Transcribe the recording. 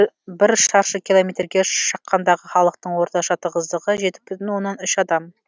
бір шаршы километрге шаққандағы халықтың орташа тығыздығы жеті бүтін оннан үш адам